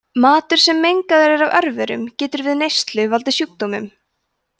matur sem mengaður er af örverum getur við neyslu valdið sjúkdómum